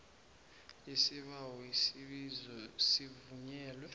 isibawo isibizo sivunyelwe